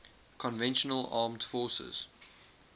conventional armed forces